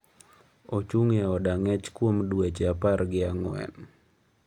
Ochung’ e od ang’ech kuom dweche apargi ang'wen.